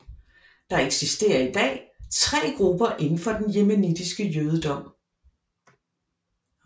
Der eksisterer i dag tre grupper inden for den yemenitiske jødedom